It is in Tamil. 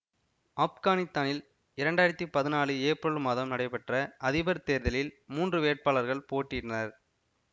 ஆப்கானித்தானில் இரண்டாயிரத்தி பதினாலு ஏப்ரல் மாதம் நடைபெற்ற அதிபர் தேர்தலில் மூன்று வேட்பாகளர்கள் போட்டியிட்டனர்